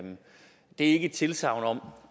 ikke et tilsagn om